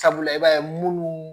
Sabula i b'a ye munnu